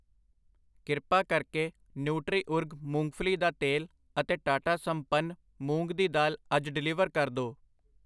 ਕਿਰਪਾ ਕਰਕੇ Nutriorg ਮੂੰਗਫਲੀ ਦਾ ਤੇਲ ਅਤੇ ਟਾਟਾ ਸੰਪਨ, ਮੂੰਗ ਦੀ ਦਾਲ ਅੱਜ ਡਿਲੀਵਰ ਕਰ ਦੋ ।